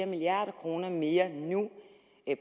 milliarder kroner mere nu